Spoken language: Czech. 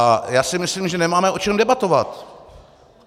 A já si myslím, že nemáme o čem debatovat.